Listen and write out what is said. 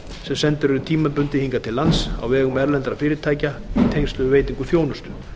sem sendir eru tímabundið hingað til lands á vegum erlendra fyrirtækja í tengslum við veitingu þjónustu